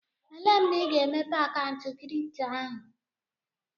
Elee mgbe ị ga-emepe akaụntụ kripto ahụ?